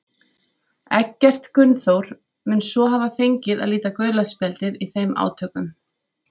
Eggert Gunnþór mun svo hafa fengið að líta gula spjaldið í þeim átökum.